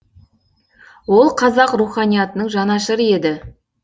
ол қазақ руханиятының жанашыры еді